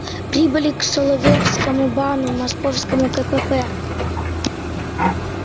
прибыли к савёловскому бану московскому кпп